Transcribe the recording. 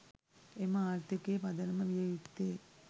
එම ආර්ථිකයේ පදනම විය යුත්තේ